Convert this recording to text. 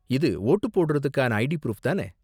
இது வோட்டு போடுறதுக்கான ID proof தான?